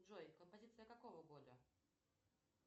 джой композиция какого года